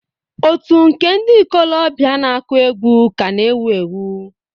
Otù nke ndị ikolobịa na-akụ egwu ka na-ewu ewu.